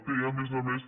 té a més a més